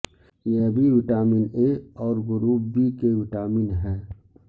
یہ بھی vitamin A اور گروپ بی کے وٹامن ہے